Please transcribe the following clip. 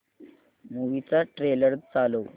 movie चा trailer चालव